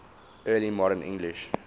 early modern english